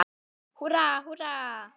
Húrra, húrra!